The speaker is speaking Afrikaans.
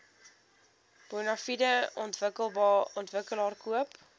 bonafide ontwikkelaar koop